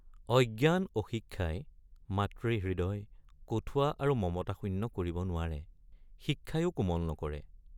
অজ্ঞান অশিক্ষাই মাতৃহৃদয় কঠুৱা আৰু মমতাশূন্য কৰিব নোৱাৰে ৷ শিক্ষায়ে৷ কোমল নকৰে ।